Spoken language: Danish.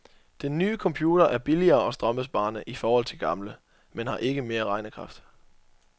Den nye computer er billigere og strømbesparende i forhold til gamle, men har ikke mere regnekraft.